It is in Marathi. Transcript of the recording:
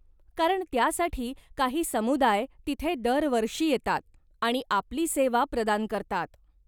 कारण त्यासाठी काही समुदाय तिथे दरवर्षी येतात आणि आपली सेवा प्रदान करतात.